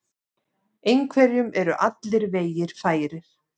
Einhverjum eru allir vegir færir